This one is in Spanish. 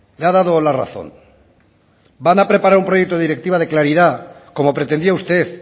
le ha dado la razón van a preparar un proyecto de directiva de claridad como pretendía usted